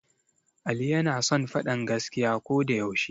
Ali yana son faɗan gaskiya ko da yaushe